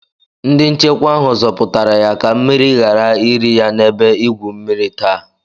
Ndi nchekwa ahụ zọpụtara ya ka mmiri ghara iri ya n'ebe igwu mmiri taa